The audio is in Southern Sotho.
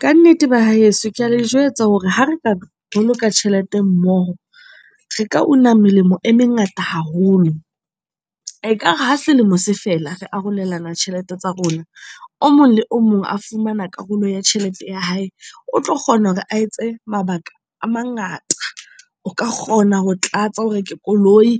Kannete ba heso ke a le jwetsa hore ha re ka boloka tjhelete mmoho, re ka una melemo e mengata haholo. Ekare ha selemo se fela re arolelana tjhelete tsa rona, o mong le o mong a fumana karolo ya tjhelete ya hae. O tlo kgona hore a etse mabaka a mangata. O ka kgona ho tlatsa o reke koloi